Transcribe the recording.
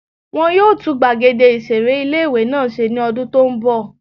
Wọ́n yóò tún gbàgede ìseré ilé-ìwé náà ṣe ní ọdún tó n bọ̀